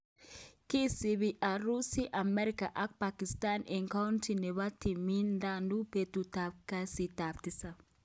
isibii Urusi, America ak Pakistan eng county nebo Tamil Nadu betutab kasitab tisab.